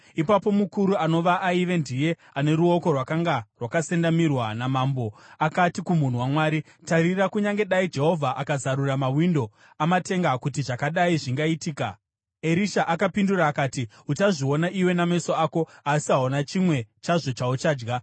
Ipapo mukuru anova aiva ndiye ane ruoko rwakanga rwakasendamirwa namambo, akati kumunhu waMwari, “Tarira, kunyange dai Jehovha akazarura mawindo amatenga, kuti zvakadai zvingaitika?” Erisha akapindura akati, “Uchazviona iwe nameso ako asi hauna chimwe chazvo chauchadya!”